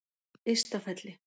Ystafelli